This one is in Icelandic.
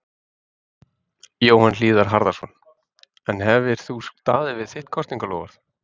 Jóhann Hlíðar Harðarson: En hefðir þú staðið við þitt kosningaloforð?